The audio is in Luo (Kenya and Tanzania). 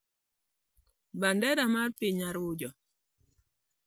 bendera mar piny Arujo.